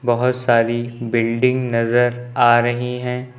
बहोत सारी बिल्डिंग नजर आ रही हैं।